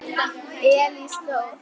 Elís Þór.